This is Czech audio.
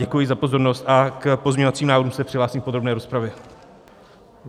Děkuji za pozornost a k pozměňovacím návrhům se přihlásím v podrobné rozpravě.